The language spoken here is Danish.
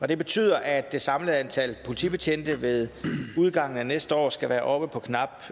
det betyder at det samlede antal politibetjente ved udgangen af næste år skal være oppe på knap